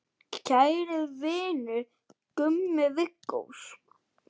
Kæri vinur, Gummi Viggós.